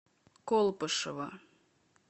колпашево